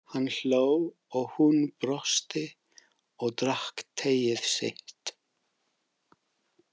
Hann hló og hún brosti og drakk teið sitt.